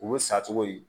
Olu sa cogo ye